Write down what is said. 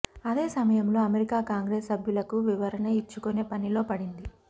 అదే సమయంలో America Congress సభ్యులకు వివరణ ఇచ్చుకునే పనిలో పడింది